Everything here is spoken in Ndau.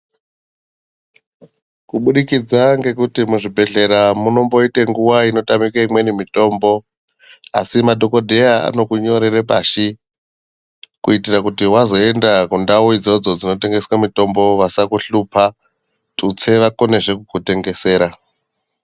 Kubudikidza ngekuti muzvibhehleya munomboite nguwa inotamike imweni mitombo asi madhokodheya anokunyorere pashi kuitire kuti wazoenda kundau idzodzo dzinotengeswe mutombo vasakuhlupa tutse vakonezve kukutengesera .